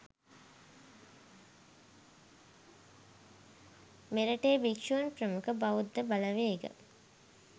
මෙරටේ භික්ෂුන් ප්‍රමුඛ බෞද්ධ බලවේග